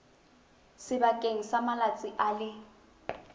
sebakeng sa malatsi a le